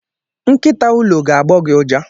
Nkịta ụlọ ga gbo gị uja.